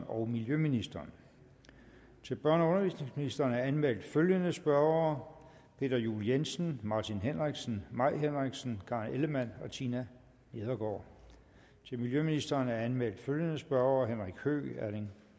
og miljøministeren til børne og undervisningsministeren er anmeldt følgende spørgere peter juel jensen martin henriksen mai henriksen karen ellemann tina nedergaard til miljøministeren er anmeldt følgende spørgere henrik høegh erling